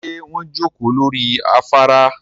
Ṣé wọ́n jókòó lórí afárá